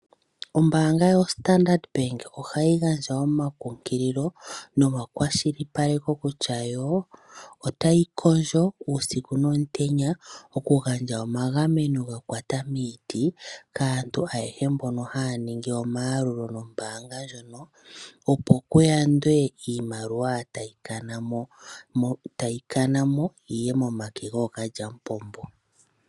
Ombaanga yoStandard Bank ohayi gandja omakunkililo nomakwashilipaleko kutya yo otayi kondjo uusiku nomutenya okugandja omagameno ga kwata miiti kaantu oyehe mbono haya ningi omayalulo nombaanga ndjono, opo ku yandwe iimaliwa tayi kana mo yi ye momake gookalyamupombo.